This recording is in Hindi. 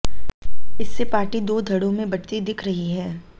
इससे पार्टी दो धड़ों में बंटती दिख रही है